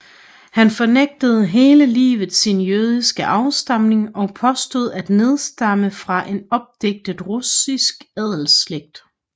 Han fornægtede hele livet sin jødiske afstamning og påstod at nedstamme fra en opdigtet russisk adelsslægt